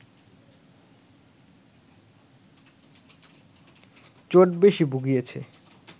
চোট বেশ ভুগিয়েছে